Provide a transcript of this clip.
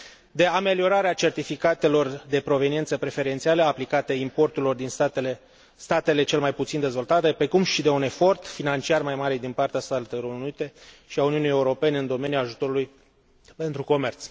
de ameliorarea certificatelor de proveniență preferențiale aplicate importurilor din statele cel mai puțin dezvoltate, precum și de un efort financiar mai mare din partea Statelor Unite și a Uniunii Europene în domeniul ajutorului pentru comerț.